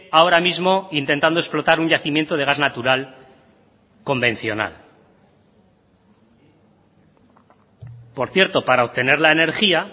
ahora mismo intentando explotar un yacimiento de gas natural convencional por cierto para obtener la energía